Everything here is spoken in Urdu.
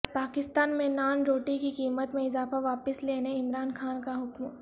پاکستان میں نان روٹی کی قیمت میں اضافہ واپس لینے عمران خان کا حکم